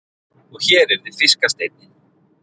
Og hér yrði fiskasteinninn.